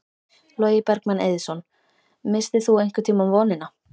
Logi Bergmann Eiðsson: Misstir þú einhvern tímann vonina?